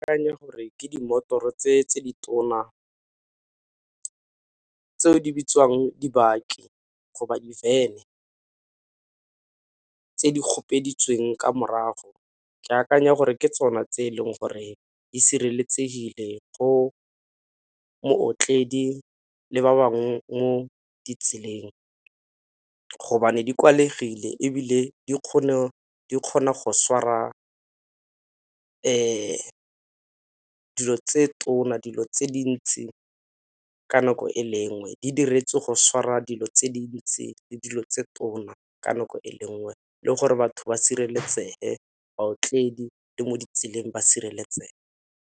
Ke akanya gore ke dimotoro tse tse di tona tse di bitswang di-baki go ba di-van-e tse di ka morago ke akanya gore ke tsona tse e leng gore di sireletsegile go mootledi le ba bangwe mo ditseleng, gobane di kwalegile ebile di kgona go swara dilo tse tona, dilo tse dintsi ka nako e le nngwe. Di diretswe go swara dilo tse dintsi le dilo tse tona ka nako e le nngwe le gore batho ba sireletsege baotledi le mo ditseleng ba sireletsege.